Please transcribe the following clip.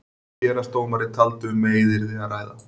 Héraðsdómari taldi um meiðyrði að ræða.